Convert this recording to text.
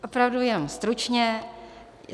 Opravdu jenom stručně.